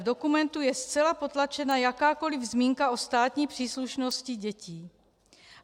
V dokumentu je zcela potlačena jakákoli zmínka o státní příslušnosti dětí.